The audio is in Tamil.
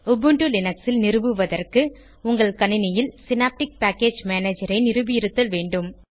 உபுண்டு லினக்ஸில் நிறுவுவதற்கு உங்கள் கணினியில் சினேப்டிக் பேக்கேஜ் மேனேஜர் ஐ நிறுவியிருத்தல் வேண்டும்